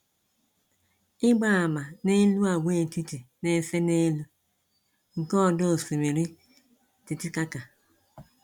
Ịgba àmà n'elu agwaetiti na-ese n' elu nke ọdọ Osimiri Titicaca.